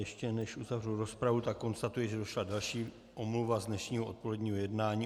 Ještě než uzavřu rozpravu, tak konstatuji, že došla další omluva z dnešního odpoledního jednání.